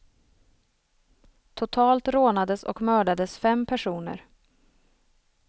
Totalt rånades och mördades fem personer.